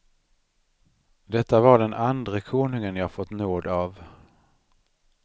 Detta var den andre konungen jag fått nåd av.